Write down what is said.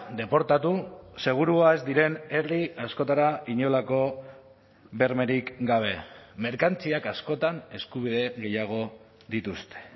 deportatu segurua ez diren herri askotara inolako bermerik gabe merkantziak askotan eskubide gehiago dituzte